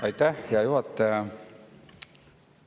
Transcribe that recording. Aitäh, hea juhataja!